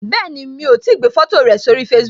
Bẹẹni, mo ti gbé foto rẹ sórí Facebook